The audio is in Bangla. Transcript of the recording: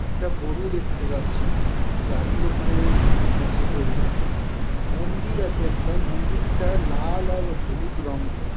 একটা গরু দেখতে পাচ্ছি গাড়ির ওখানে আছে গরুটা মন্দির আছে একটা মন্দিরটা লাল আর হলুদ রঙ করা।